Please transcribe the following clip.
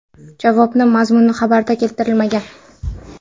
Javob mazmuni xabarda keltirilmagan.